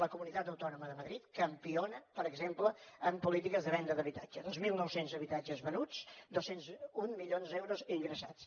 la comunitat autònoma de madrid campiona per exemple en polítiques de venda d’habitatge dos mil nou cents habitatges venuts dos cents i un milions d’euros ingressats